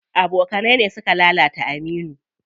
Abokanai ne suka lalata Aminu.